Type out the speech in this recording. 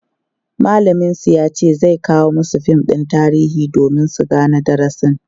mallamin su yace zai kawo masu fim ɗin tarihi domin su Gane darasin